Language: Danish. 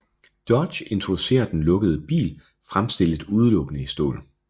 Dodge introducerer den lukkede bil fremstillet udelukkende i stål